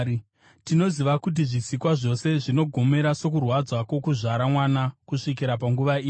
Tinoziva kuti zvisikwa zvose zvinogomera sokurwadza kwokuzvara mwana kusvikira panguva ino.